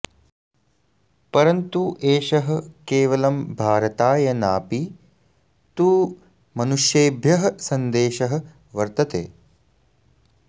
परन्तु एषः केवलं भारताय नापि तु मनुष्येभ्यः सन्देशः वर्तते